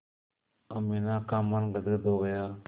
अमीना का मन गदगद हो गया